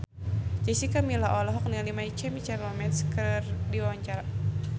Jessica Milla olohok ningali My Chemical Romance keur diwawancara